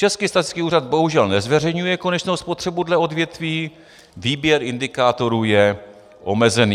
Český statistický úřad bohužel nezveřejňuje konečnou spotřebu dle odvětví, výběr indikátorů je omezený.